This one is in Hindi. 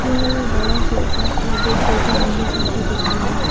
यहां एक बड़ा सोफा और दो छोटे अन्य सोफे दिख रहे हैं।